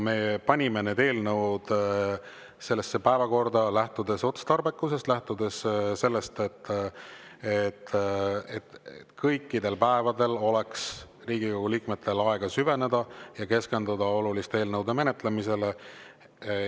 Me panime need eelnõud sellesse päevakorda lähtudes otstarbekusest, lähtudes sellest, et kõikidel päevadel oleks Riigikogu liikmetel aega süveneda ja keskenduda oluliste eelnõude menetlemisele.